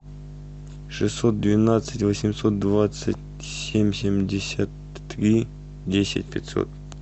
шестьсот двенадцать восемьсот двадцать семь семьдесят три десять пятьсот